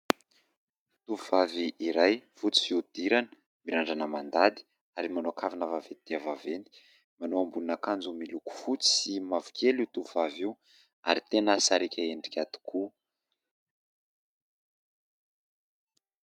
Tovovavy iray fotsy fihodirana, mirandrana mandady ary manao kavina vaventy dia vaventy. Manao ambonin'akanjo miloko fotsy sy mavokely io tovovavy io ary tena sariaka endrika tokoa.